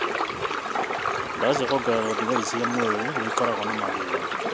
Ndawa cia koungerera thigari cia mwĩrĩ noikorwo na mathĩna